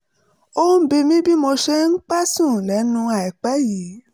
ó ń bi mí bí mo ṣe ń pẹ́ sùn lẹ́nu àìpẹ́ yìí